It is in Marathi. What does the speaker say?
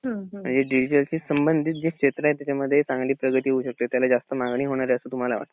म्हणजे डिजिटलशी समाधीत जे क्षेत्र आहे त्याच्यामध्ये चांगली प्रगती होऊ शकते त्याला जास्त मागणी होणारे असं तुम्हाला वाटत.